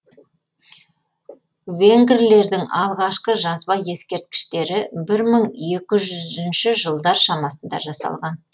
венгрлердің алғашқы жазба ескерткіштері бір мың екі жүзінші жылдар шамасында жасалған